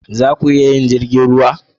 Za ku iya yin jirgin ruwa?